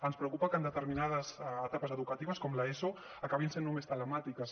ens preocupa que determinades etapes educatives com l’eso acabin sent només telemàtiques